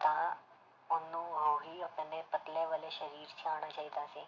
ਤਾਂ ਉਹਨੂੰ ਉਹੀ ਆਪਣੇ ਪਤਲੇ ਵਾਲੇ ਸਰੀਰ 'ਚ ਆਉਣਾ ਚਾਹੀਦਾ ਸੀ,